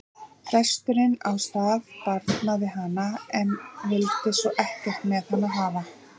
Presturinn á staðnum barnaði hana en vildi svo ekkert með hana hafa.